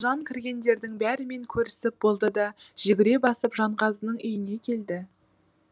жан кіргендердің бәрімен көрісіп болды да жүгіре басып жанғазының үйіне келді